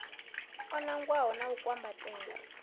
o nangwaho u a kwambatela